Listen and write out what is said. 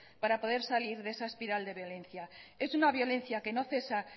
para poder salir de esa espiral de violencia es una violencia que no cesa